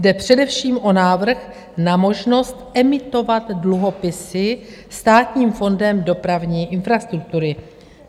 Jde především o návrh na možnost emitovat dluhopisy Státním fondem dopravní infrastruktury.